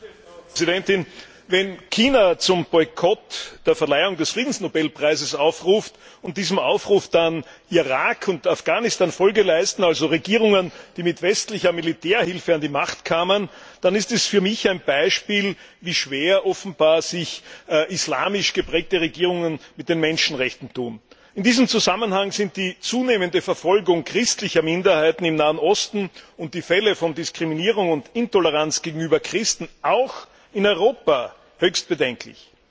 Frau Präsidentin! Wenn China zum Boykott der Verleihung des Friedensnobelpreises aufruft und diesem Aufruf dann Irak und Afghanistan Folge leisten, also Regierungen, die mit westlicher Militärhilfe an die Macht kamen, dann ist das für mich ein Beispiel dafür, wie schwer sich offenbar islamisch geprägte Regierungen mit den Menschenrechten tun. In diesem Zusammenhang sind die zunehmende Verfolgung christlicher Minderheiten im Nahen Osten und die Fälle von Diskriminierung und Intoleranz gegenüber Christen auch in Europa höchst bedenklich.